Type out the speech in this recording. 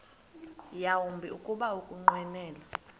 yawumbi kuba ukunqwenela